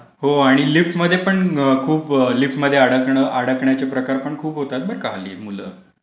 हो आणि लिफ्टमध्ये पण खूप. लिफ्टमध्ये अडकण्याचे प्रकार पण खूप होतात बरं का हल्ली मुलं.